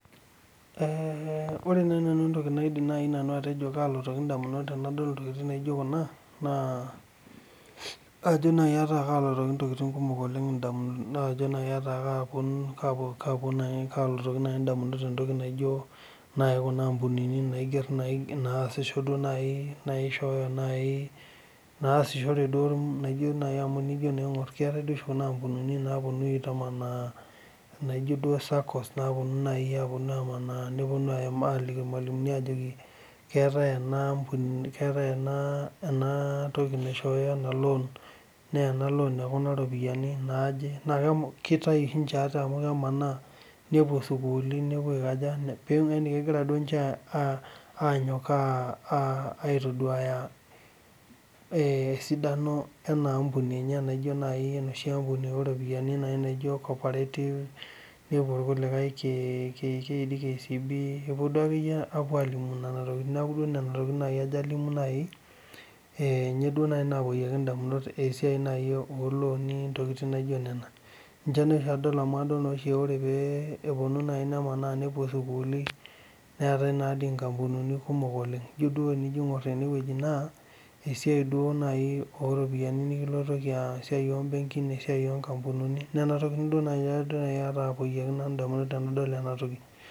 Ore naaji entoki naidim nanu atejo kalotoki ndamunot tenadol kuna, naa kalotoki naaji ndamunot entoki naijo naasishore naaji amu tinijo aingor keetae kuna ampunini naaponu aitamanaa naijo naaji saccos]cs] neponu aitamanaa aliki irmalimuni ajoki keetae ena ampuni ,keetae ena toki naisshooyo ena loon naa enaloon ekuna ropiyiani naaje .Naa kitayu oshi ninche ate amu kemanaa nepuo sukuulini. Yani kegira ninche anyok aitoduaya esidano ena ampuni enye naijo naaji enoshi ampuni ooropiyiani naji copperative ,nepuo irkulikae KCB,neeku Nena tokiting ajo alimu naaji ,ninye naaji nalotoki ndamunot esiai naaji olooni ,ntokiting naijo nena ninche naa oshi adol amu ore naaji pee eponu nepuo sukulini neetae nadii nkampunini kumok oleng. Joo tiningor eneweji naa esiai naaji oropiyiani nikilotoki esiai ombenkin ,esiai onkampunini Nina tokiting naaji nanu napoyieki ndamunot tenadol ena toki.